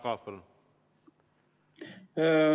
Jaak Aab, palun!